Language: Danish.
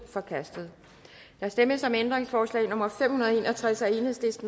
forkastet der stemmes om ændringsforslag nummer fem hundrede og tres af